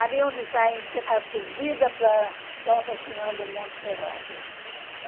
Ali onde está a subida para Nossa Senhora do Monte Serrata.